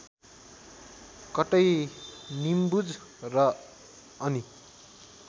कतै निम्बुज र अनि